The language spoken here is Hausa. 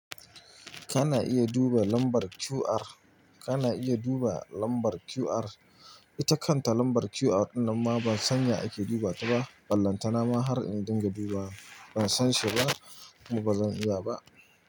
Kana iya duba lambar QR. Kana iya duba lambar QR. Ita kanta lambar QR ɗin nanma ban san ya ake duba ta ba. Ballanta na ma har in dinga dubawa. Ban san shi ba, kuma ba zan iya ba.